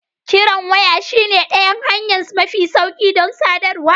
Kiran waya shine ɗayan hanya mafi sauƙi don sadarwa.